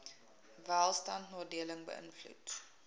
welstand nadelig beïnvloed